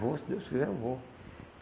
Vou se Deus quiser, eu vou.